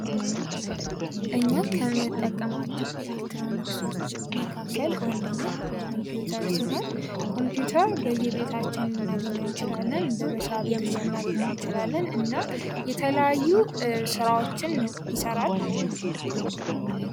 እኛ ከምንጠቀማቸው የኤሌክትሮኒክስ ምርቶች መካከል አንዱ ኮምፒዩተር ሲሆን በመስሪያ ቤቶች ልናገኛቸው እንችላለን እና የተለያዩ ስራዎችን ይሰራል።